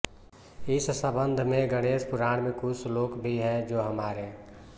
इस सम्बन्ध में गणेश पुराण में कुछ श्लोक भी है जो हमारे